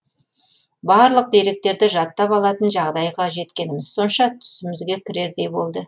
барлық деректерді жаттап алатын жағдайға жеткеніміз сонша түсімізге кірердей болды